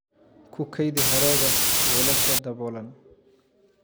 Ku kaydi hadhaaga weelasha daboolan.